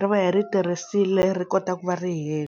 ri va hi ri tirhisile ri kota ku va ri hela.